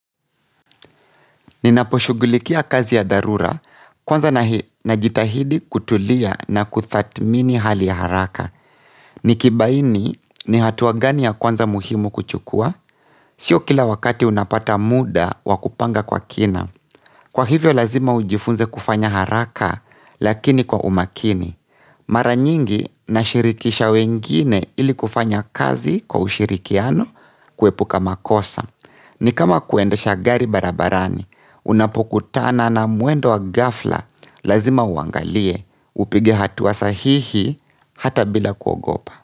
Ninaposhughulikia kazi ya dharura kwanza najitahidi kutulia na kuthatimini hali ya haraka. Nikibaini ni hatua gani ya kwanza muhimu kuchukua? Sio kila wakati unapata muda wakupanga kwa kina. Kwa hivyo lazima ujifunze kufanya haraka lakini kwa umakini. Mara nyingi nashirikisha wengine ili kufanya kazi kwa ushirikiano kuepuka makosa. Ni kama kuendesha gari barabarani unapokutana na mwendo wa ghafla lazima uangalie upige hatua sahihi hata bila kuogopa.